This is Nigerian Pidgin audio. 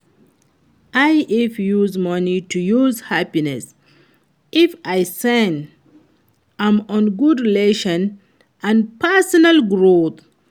i fit use money to buy happiness if i spend am on good relationship and personal growth.